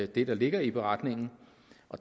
det der ligger i beretningen